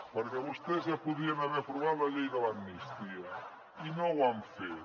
perquè vostès ja podrien haver aprovat la llei de l’amnistia i no ho han fet